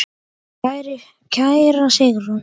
Kæra Sigrún.